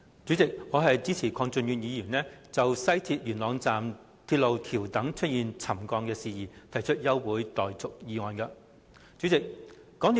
主席，我支持鄺俊宇議員就港鐵西鐵線元朗段架空鐵路橋躉出現沉降的事宜，提出休會待續議案。